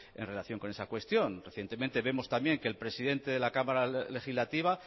en relación con esa cuestión recientemente vemos también que el presidente de la cámara legislativa